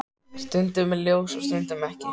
Stundum er ljós og stundum ekki.